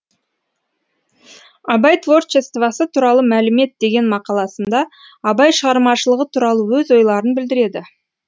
абай творчествосы туралы мәлімет деген мақаласында абай шығармашылығы туралы өз ойларын білдіреді